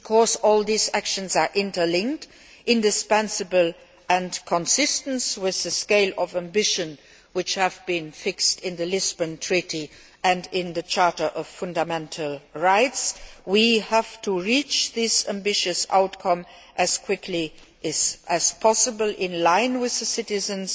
As all these actions are interlinked, indispensable and consistent with the scale of ambition which have been fixed in the Treaty of Lisbon and in the Charter of Fundamental Rights, we have to reach this ambitious outcome as quickly as possible in line with citizens'